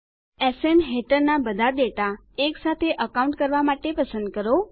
SN હેઠળના બધા data એક સાથે અકાઉન્ટ કરવા માટે પસંદ કરો